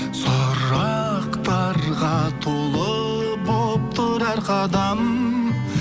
сұрақтарға толы болып тұр әр қадам